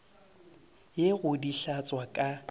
ye go di hlatswa ka